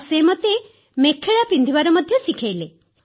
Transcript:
ଆଉ ସେ ମୋତେ ମେଖେଲା ପିନ୍ଧିବା ମଧ୍ୟ ଶିଖାଇଲେ